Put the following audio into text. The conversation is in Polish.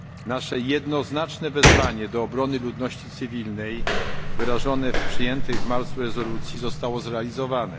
stronie. Nasze jednoznaczne wezwanie do obrony ludności cywilnej, wyrażone w przyjętej w marcu rezolucji, zostało zrealizowane.